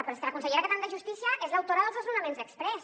però és que la consellera que tenim de justícia és l’autora dels desnonaments exprés